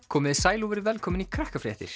komiði sæl og verið velkomin í